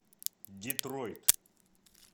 детройт